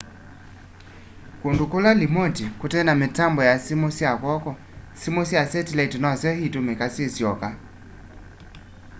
kũndũ kũla limoti kũtena mitambo ya sĩmũ sya kwoko sĩmũ sya setilaiti nosyo itumika syisyoka